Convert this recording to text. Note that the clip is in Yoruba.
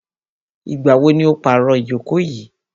Ìgbà wo ni o pàro ìjókò yìí?